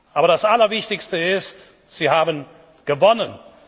Aber das Allerwichtigste ist, Sie haben gewonnen!